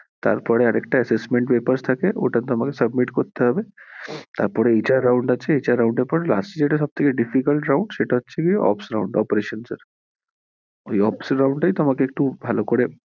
তারপর এ আরেকটা assessment papers থাকে ওটা তে আমাকে submit করতে হবে তারপর এ HR round আছে HR round এর পর last এ যেটা সব থেকে difficult round সেটা হছে কি OPSround operations এর ওই OPSround টাই তোমাকে একটু ভালো করে